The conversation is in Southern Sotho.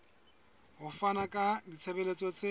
ho fana ka ditshebeletso tse